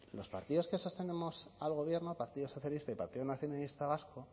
los partidos que sostenemos al gobierno partido socialista y partido nacionalista vasco